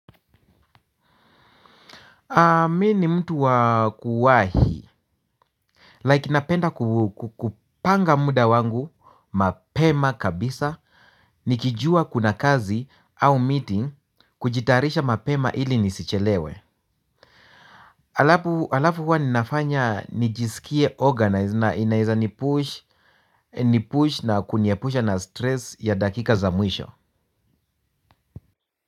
Mi ni mtu wa kuwahi Like napenda kupanga muda wangu mapema kabisa. Nikijua kuna kazi au meeting kujitayarisha mapema ili nisichelewe. Alafu huwa ninafanya nijisikie organized na inaeza nipush na kuniepusha na stress ya dakika za mwisho.